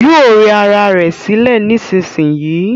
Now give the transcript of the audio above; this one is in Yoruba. Yóò rẹ ra ẹ̀ sílẹ̀ nísinsìnyí